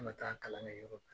An ka taa kalan kɛ yɔrɔ in na.